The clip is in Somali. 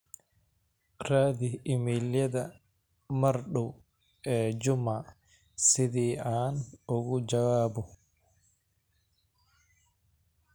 raadi iimaylyada mar dhow ee juma sidii aan ugu jawaabo